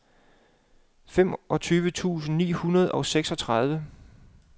femogtyve tusind ni hundrede og seksogtredive